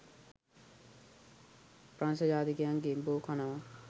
ප්‍රංසජාතිකයින් ගෙම්බෝ කනවා